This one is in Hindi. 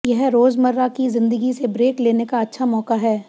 यह रोजमर्रा की जिंदगी से ब्रेक लेने का अच्छा मौका है